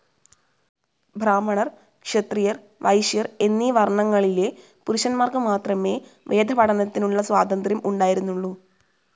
ബ്രാഹ്മണർ ക്ഷത്രിയർ വൈശ്യർ എന്നീ വർണങ്ങളിലെ പുരുഷന്മാർക്ക് മാത്രമേ വേദപഠനത്തിനുള്ള സ്വാതന്ത്ര്യം ഉണ്ടായിരുന്നുള്ളു.